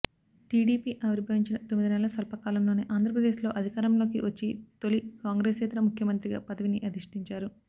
TDP ఆవిర్భవించిన తొమ్మిదినెలల స్వల్పకాలంలోనే ఆంధ్రప్రదేశ్లో అధికారంలోకి వచ్చి తొలి కాంగ్రెసేతర ముఖ్యమంత్రిగా పదవిని అధిష్టించారు